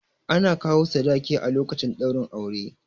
Ana kawo sadaki a lokacin ɗaurin aure